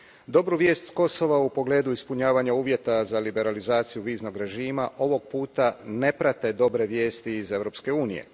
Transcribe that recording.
Dobru vijesti s Kosova, u pogledu ispunjavanja uvjeta za liberalizaciju viznog režima, ovoga puta ne prate dobre vijesti iz Europske unije.